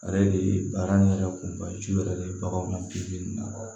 A yɛrɛ de ye baara in yɛrɛ kun ka ye su yɛrɛ de ye bagan in na